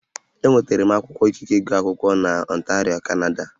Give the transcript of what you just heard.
Enwetara m akwụkwọ ikike ịgụ akwụkwọ n'Ọntario, Kanada